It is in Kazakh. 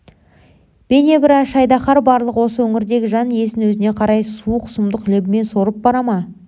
бейнебір аш айдаһар барлық осы өңірдегі жан иесін өзіне қарай суық сұмдық лебімен сорып бара ма